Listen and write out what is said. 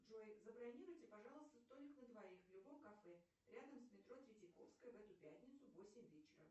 джой забронируйте пожалуйста столик на двоих в любом кафе рядом с метро третьяковская в эту пятницу в восемь вечера